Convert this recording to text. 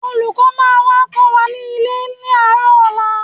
Olùkọ́ máa wá kọ́ wa nílé ní àárọ̀ ọ̀la